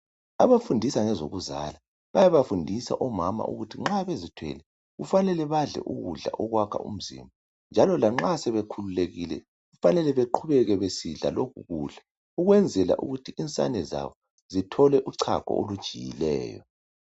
Abafundisa ngezokuzala bayaba fundisa omama nxa bezithwele kufane badle ukudla okwakha umzimba njalo lanxa sebekhululekile kufanele beqhubeke besidla lokho kudla ukwenzela ukuthi insane zabo zithole uchago olujiyileyo.